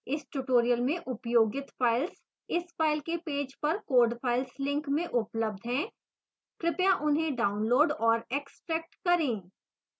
इस tutorial में उपयोगित files इस tutorial के पेज पर code files link में उपलब्ध हैं कृपया उन्हें डाउनलोड और एक्स्ट्रैक्ट करें